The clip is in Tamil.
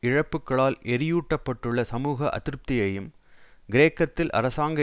இழப்புக்களால் எரியூட்டப்பட்டுள்ள சமூக அதிருப்தியையும் கிரேக்கத்தில் அரசாங்க